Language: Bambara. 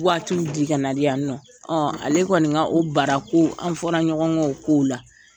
Waatiw di ka na di yan nɔ. Ale kɔni ka bara ko, an fɔra ɲɔgɔn kɔ o kow la.